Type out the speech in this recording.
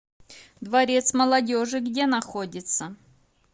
дворец молодежи где находится